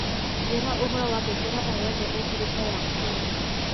njira uhoro wa ngengere oyothe ikiritwo ya umuthi